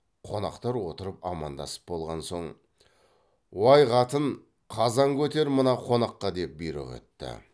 қонақтар отырып амандасып болған соң уай қатын қазан көтер мына қонаққа деп бұйрық етті